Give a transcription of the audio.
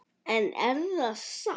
En er það satt?